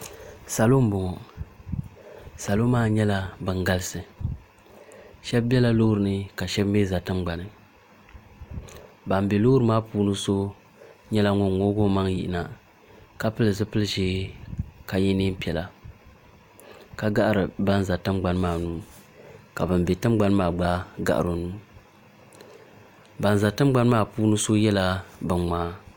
salo n.bɔŋɔ salo maa nyɛla bɛn galisi shɛbi bɛla lori ni ka shɛbi bɛ shɛɛna tiŋa ban bɛ lori maa puuni so nyɛla ŋɔ ŋɔgi o maŋ yina ka pɛli zibili ʒiɛ ka yɛ nɛɛpiɛla ka gari ban za tiŋgbani maa nu ka ban bɛ tiŋgbani maa gba garo nu ban za tiŋgbani maa puuni so yɛla bɛn ŋmɛ